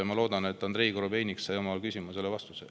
Ma loodan, et Andrei Korobeinik sai oma küsimusele vastuse.